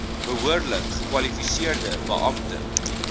behoorlik gekwalifiseerde beampte